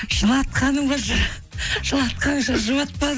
жылатқаның ба жылатқанша